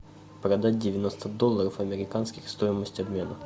продать девяносто долларов американских стоимость обмена